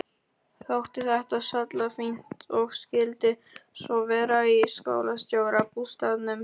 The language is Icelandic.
Þótti þetta sallafínt og skyldi svo vera í skólastjórabústaðnum.